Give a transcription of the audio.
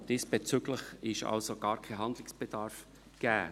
Diesbezüglich ist also gar kein Handlungsbedarf gegeben.